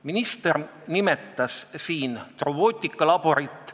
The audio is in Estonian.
Minister nimetas siin robootikalaborit.